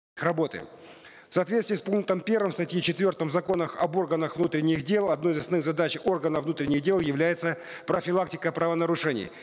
работы в соответствии с пунктом первым статьи четвертой в законах об органах внутренних дел одной из основных задач органов внутренних дел является профилактика правонарушений